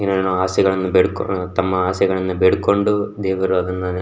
ಏನೇನೋ ಆಸೆಗಳನ್ನ ಬೇಡ್ಕೊಂಡು ತಮ್ಮಆಸೆಗಳನ್ನ ಬೇಡ್ಕೊಂಡು ದೇವರು ಅದನ್ನ --